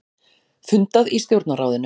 Fundað í Stjórnarráðinu